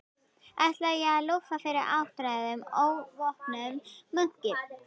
Ætlaði ég að lúffa fyrir áttræðum óvopnuðum munki?